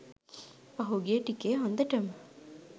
පහුගිය ටිකේ හොඳටම